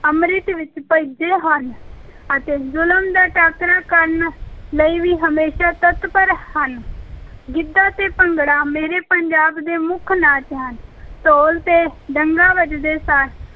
ਅੰਮ੍ਰਿਤ ਵਿੱਚ ਭਿੱਜੇ ਹਨ ਅਤੇ ਜ਼ੁਲਮ ਦਾ ਟਾਕਰਾ ਕਰਨ ਲਈ ਵੀ ਹਮੇਸ਼ਾ ਤੱਤਪਰ ਹਨ ਗਿੱਧਾ ਤੇ ਭੰਗੜਾ ਮੇਰੇ ਪੰਜਾਬ ਦੇ ਮੁੱਖ ਨਾਚ ਹਨ, ਢੋਲ ‘ਤੇ ਡੱਗਾ ਵੱਜਦੇ ਸਾਰ